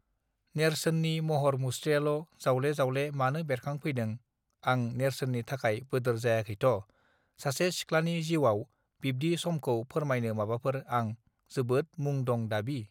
नेर्सोननि महर मुस्त्रियाल जावले जावले मानो बेरखां फैदों आं नेर्सोननि थाखाय बोदोर जायाखैथ सासे सिख्लानि जिउआव बिब्दि समखौ फोरमायनो माबाफोर आं जोबोत मुं दं दाबि